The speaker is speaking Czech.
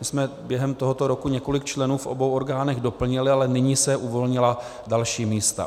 My jsme během tohoto roku několik členů v obou orgánech doplnili, ale nyní se uvolnila další místa.